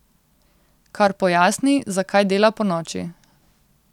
Kar pojasni, zakaj dela ponoči.